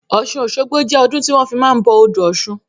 Ọ̀sun Osogbo jẹ́ ọdún tí wọn fi máa ń bọ odò ọ̀sun